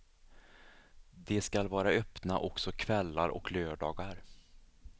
De skall vara öppna också kvällar och lördagar.